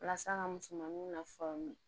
Walasa ka musomaninw nafamu